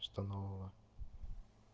что нового